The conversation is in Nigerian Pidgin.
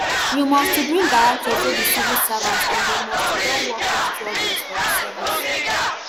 you must to bring guarantors wey be civil servants and dem must to don work reach twelve years for di service